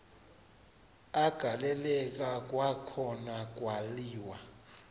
agaleleka kwakhona kwaliwa